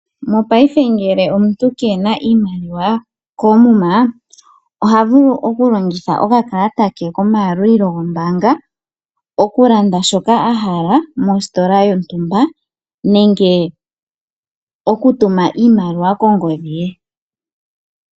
Mongashingeyi ngele omuntu kena iimaliwa koomuma oha vulu okulongitha okakalata ke komayalulilo gombaanga , okulanda shoka ahala mositola yontumba nenge okutuma iimaliwa kongodhi ye.